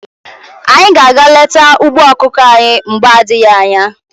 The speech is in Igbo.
Anyị ga aga leta ugbo ọkụkọ anyị mgbe adịghị anya.